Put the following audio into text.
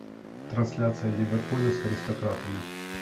трансляция ливерпуля с аристократами